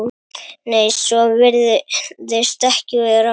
Nei, svo virðist ekki vera.